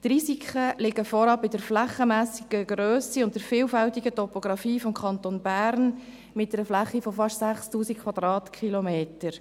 Die Risiken liegen vorab bei der flächenmässigen Grösse und der vielfältigen Topografie des Kantons Bern mit einer Fläche von fast 6000 km.